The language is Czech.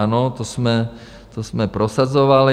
Ano, to jsme prosazovali.